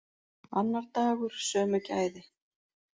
Annar dagur, sömu gæði.